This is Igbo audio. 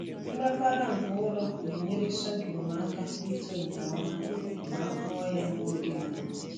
Nrapara nke ụrọ na-enyere sorghum aka ito nke ọma ma a kụọ ya n’oge mbụ.